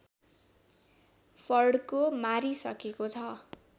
फड्को मारिसकेको छ